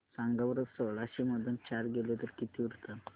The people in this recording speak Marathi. सांगा बरं सोळाशे मधून चार गेले तर किती उरतात